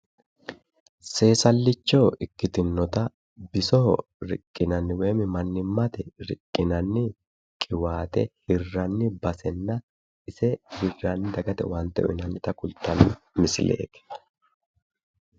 Seesallicho ikkitinota bisoho riqqinanni woyi mannimnate riqqinanni qiwaate hirranni basenna ise hirranni dagate owaante uyitannota kultanno misileeti